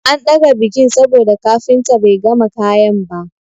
An ɗaga bikin saboda kafinta bai gama kayan ba.